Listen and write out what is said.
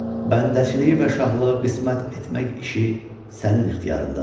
Bəndəçiliyi və şahlığı qismət etmək işi sənin ixtiyarındadır.